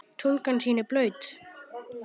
Tunga þín blaut.